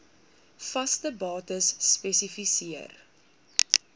vaste bates spesifiseer